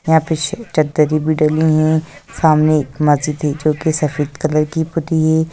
यहाँ पे चद्द्रे भी टंगी है सामने एक मस्जिद है जोकि सफेद कलर की